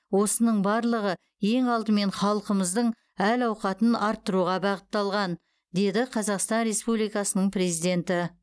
осының барлығы ең алдымен халқымыздың әл ауқатын арттыруға бағытталған деді қазақстан республикасының президенті